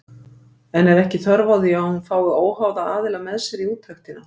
En er ekki þörf á því að hún fái óháða aðila með sér í úttektina?